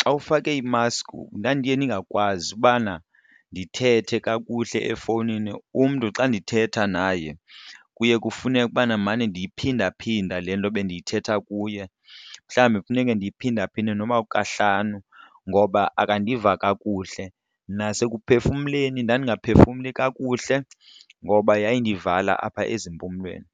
xa ufake imaski ndandiye ningakwazi ubana ndithethe kakuhle efowunini. Umntu xa ndithetha naye kuye kufuneke ukubana ndimane ndiyiphinda phinda le nto bendiyithetha kuye mhlawumbi kufuneke ndiyiphinda phinde noba kukahlanu ngoba akandiva kakuhle. Nasekuphefumleni ndandingaphefumli kakuhle ngoba yayindivala apha ezimpumlweni.